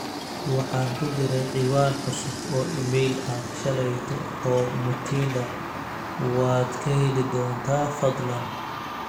waxaan ku daray ciwaan cusub oo iimayl ah shalayto oo mutinda waad ka heli doontaa fadlan